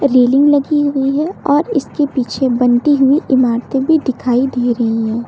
Railing लगी हुई है और इसके पीछे बनती हुई इमारतें भी दिखाई दे रही है।